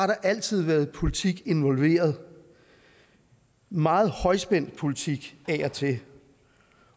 der altid været politik involveret meget højspændt politik af og til